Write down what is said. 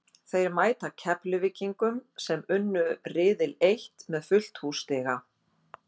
Þeir mæta Keflvíkingum sem unnu riðil eitt með fullt hús stiga.